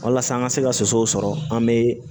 Walasa an ka se ka soso sɔrɔ an bɛ